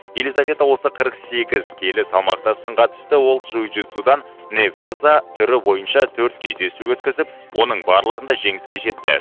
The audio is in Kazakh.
елизавета осы қырық сегіз келі салмаққа сынға түсті ол джиу джитсудан не ваза түрі бойынша төрт кездесу өткізіп оның барлығында жеңіске жетті